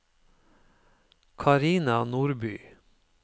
Carina Nordby